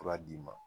Fura d'i ma